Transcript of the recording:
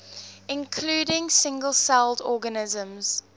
including single celled organisms